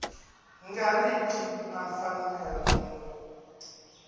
nga ri ki na mfanelo